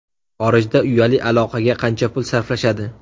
Xorijda uyali aloqaga qancha pul sarflashadi?.